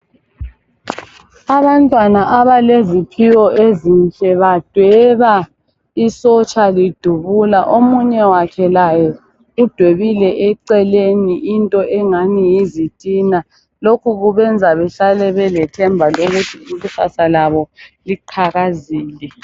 Abantwana abaleziphiwo ezinhle badweba isotsha lidubula omunye wakhe laye udwebile eceleni into engani yizitina lokhu kubenza behlale belethemba lokuthi ikusasa labo liqhakazile.